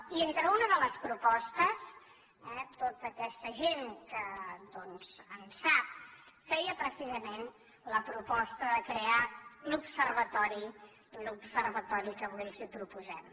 i entre una de les propostes eh tota aquesta gent que doncs en sap feia precisament la proposta de crear l’observatori que avui els proposem